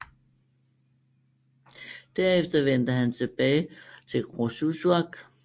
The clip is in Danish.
Derefter vendte han tilbage til Qorsussuaq